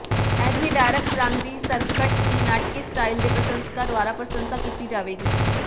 ਅਜਿਹੇ ਡਾਰਕ ਰੰਗ ਦੀ ਸਕਰਟ ਦੀ ਨਾਟਕੀ ਸਟਾਈਲ ਦੇ ਪ੍ਰਸ਼ੰਸਕਾਂ ਦੁਆਰਾ ਪ੍ਰਸ਼ੰਸਾ ਕੀਤੀ ਜਾਵੇਗੀ